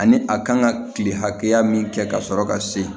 Ani a kan ka kile hakɛya min kɛ ka sɔrɔ ka se